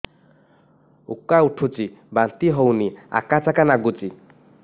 ଉକା ଉଠୁଚି ବାନ୍ତି ହଉନି ଆକାଚାକା ନାଗୁଚି